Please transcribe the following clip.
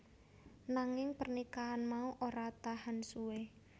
Nanging pernikahan mau ora tahan suwe